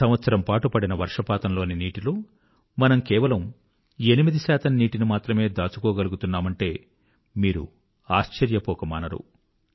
సంవత్సరం పాటు పడిన వర్షపాతంలోని నీటిలో మనం కేవలం 8 నీటిని మాత్రమే మనం దాచుకోగలుగుతున్నామంటే మీరు ఆశ్చర్యపోకమానరు